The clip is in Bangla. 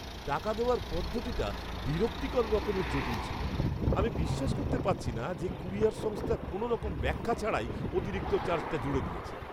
টাকা দেওয়ার পদ্ধতিটা বিরক্তিকর রকমের জটিল ছিল; আমি বিশ্বাস করতে পারছি না যে কুরিয়ার সংস্থা কোনওরকম ব্যাখ্যা ছাড়াই অতিরিক্ত চার্জটা জুড়ে দিয়েছে।